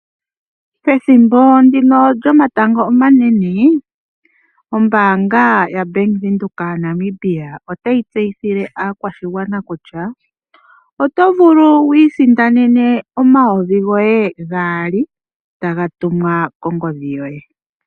Pethimbo ndino lyomatango omanene ombaanga yaBank Windhoek yaNamibia otayi tseyithile aakwashigwana kutya oto vulu wu isindanene omayovi goye gaali taga tumwa kongodhi yoye.